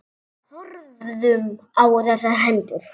Horfðum á þessar hendur.